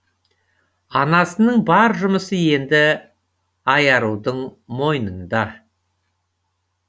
анасының бар жұмысы енді айарудың мойнында